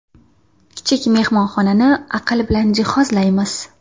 Kichik mehmonxonani aql bilan jihozlaymiz.